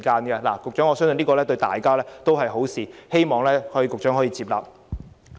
局長，我相信這樣做對大家也是好事，希望局長接納。